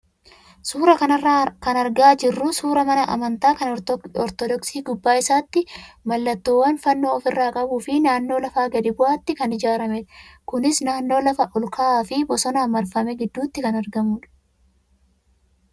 Suuraa kanarraa kan argaa jirru suuraa mana amantaa kan ortodoksii gubbaa isaatti mallattoowwan fannoo ofirraa qabuu fi naannoo lafa gadi bu'aatti kan ijaaramedha. Kunis naannoo lafa ol ka'aa fi bosonaan marfame gidduutti kan argamudha.